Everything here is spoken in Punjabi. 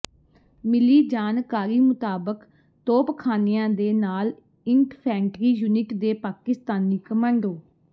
ਮਿਲੀ ਜਾਣਕਾਰੀ ਮੁਤਾਬਕ ਤੋਪਖਾਨਿਆਂ ਦੇ ਨਾਲ ਇੰਟਫੈਂਟਰੀ ਯੂਨਿਟ ਦੇ ਪਾਕਿਸਤਾਨੀ ਕਮਾਂਡੋ